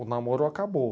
O namoro acabou.